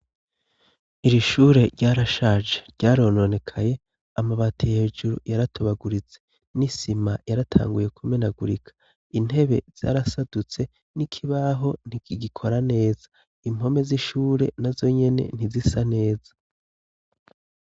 Iri shure ryarashaje ryarononekaye, amabati hejuru yaratobaguritse ,n'isima yaratanguye kumenagurika intebe zarasadutse n'ikibaho ntigikora neza ,impome z'ishure na zonyene ntizisa neza